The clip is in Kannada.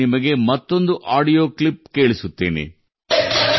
ನಾನು ನಿಮಗೆ ಮತ್ತೊಂದು ಆಡಿಯೋ ಕ್ಲಿಪ್ ಕೇಳಿಸುತ್ತೇನೆ